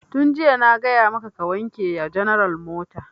Tun jiya na gaya maka ka wanke ya general mota!